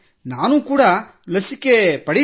ನಾನು ಕೂಡಾ ಲಸಿಕೆ ಪಡೆಯುವೆ